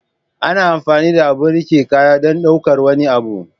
ana amfani da abun rike kaya don ɗaukar wani abu.